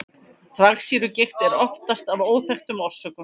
þvagsýrugigt er oftast af óþekktum orsökum